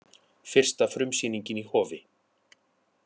Fyrsta frumsýningin í Hofi